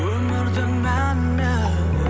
өмірдің мәні